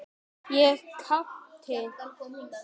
Ég gapti.